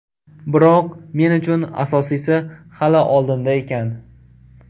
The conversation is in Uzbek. Biroq men uchun asosiysi hali oldinda ekan.